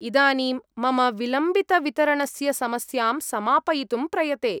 इदानीं, मम विलम्बितवितरणस्य समस्यां समापयितुं प्रयते।